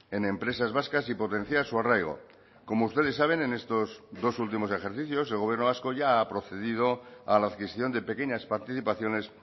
en empresas vascas y potenciar su arraigo como ustedes saben en estos dos últimos ejercicios el gobierno vasco ya ha procedido a la adquisición de pequeñas participaciones